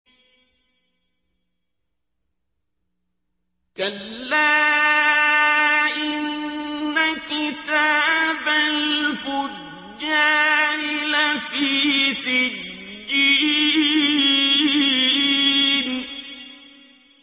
كَلَّا إِنَّ كِتَابَ الْفُجَّارِ لَفِي سِجِّينٍ